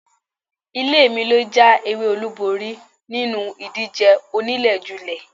Ilé mi lọ já ewé olúborí nínú ìdíje oníléjulé.